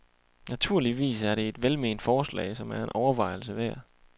Naturligvis er det et velment forslag, som er en overvejelse værd.